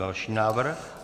Další návrh.